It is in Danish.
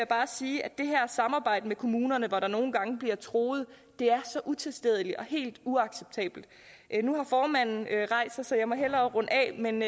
bare sige at det her samarbejde med kommunerne hvor der nogle gange bliver truet er så utilstedeligt og helt uacceptabelt nu har formanden rejst sig så jeg må hellere runde af men